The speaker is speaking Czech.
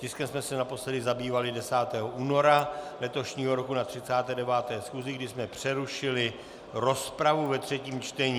Tiskem jsme se naposledy zabývali 10. února letošního roku na 39. schůzi, kdy jsme přerušili rozpravu ve třetím čtení.